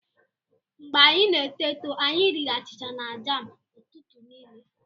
Mgbe anyị n'eto eto, anyị riri achịcha na jam ụtụtụ niile.